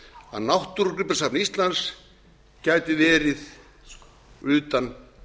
að náttúrugripasafn íslands gæti verið utan